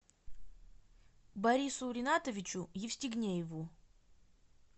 борису ринатовичу евстигнееву